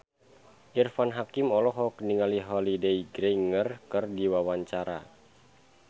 Irfan Hakim olohok ningali Holliday Grainger keur diwawancara